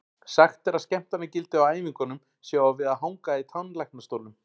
Sagt er að skemmtanagildið á æfingunum sé á við að hanga í tannlæknastólnum.